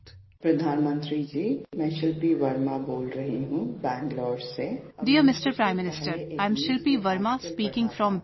"Pradhan Mantri Ji, I am Shilpi Varma speaking from Bengaluru